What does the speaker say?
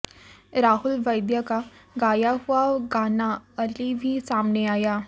राहुल वैद्य का गाया हुआ गाना अली भी सामने आया